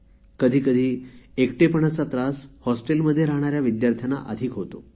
कधी कधी एकटेपणाचा त्रास हॉस्टेलमध्ये राहणाऱ्या विद्यार्थ्यांना अधिक होतो